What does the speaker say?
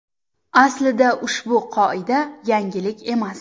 Aslida ushbu qoida yangilik emas.